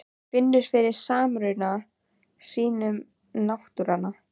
Finnur fyrir samruna sínum við náttúruna.